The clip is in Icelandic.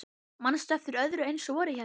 Manstu eftir öðru eins vori hérna?